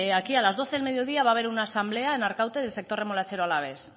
aquí a la doce del mediodía va a ver una asamblea en arkaute del sector remolachero alavés